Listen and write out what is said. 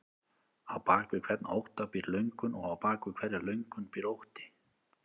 Á bak við hvern ótta býr löngun og á bak við hverja löngun býr ótti.